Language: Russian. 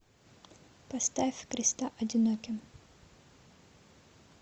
поставь креста одиноким